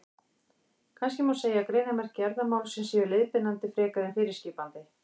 Kannski má segja að greinarmerki erfðamálsins séu leiðbeinandi frekar en fyrirskipandi.